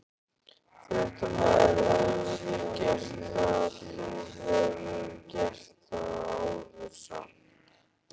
Fréttamaður: Hefurðu gert það, þú hefur gert það áður samt?